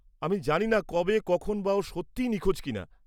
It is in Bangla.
আমি জানি না কবে কখন বা ও সত্যিই নিখোঁজ কিনা।